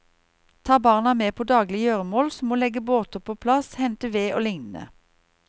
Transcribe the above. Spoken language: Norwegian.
Ta barna med på daglige gjøremål som å legge båter på plass, hente ved og lignende.